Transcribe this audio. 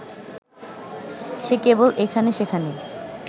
সে কেবল এখানে-সেখানে